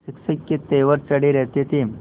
शिक्षक के तेवर चढ़े रहते थे